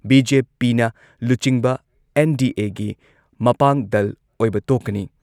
ꯕꯤ.ꯖꯦ.ꯄꯤꯅ ꯂꯨꯆꯤꯡꯕ ꯑꯦꯟ.ꯗꯤ.ꯑꯦꯒꯤ ꯃꯄꯥꯡ ꯗꯜ ꯑꯣꯏꯕ ꯇꯣꯛꯀꯅꯤ ꯫